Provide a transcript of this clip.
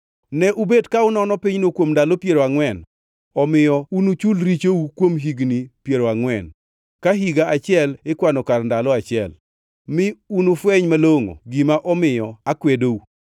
Ne ubet ka unono pinyno kuom ndalo piero angʼwen, omiyo unuchul richou kuom higni piero angʼwen, ka higa achiel ikwano kar ndalo achiel, mi unufweny malongʼo gima omiyo akwedou.’